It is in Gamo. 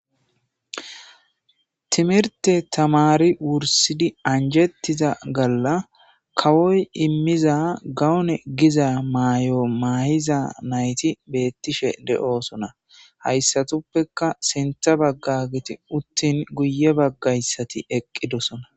Timirte tamari wursidi anjettiza galla kawoy immiza gawune giza maayo maayiza nayti beettishe de'oosona hayssatuppekka sentha bagga giti uttin guye baggayssati eqqidosona.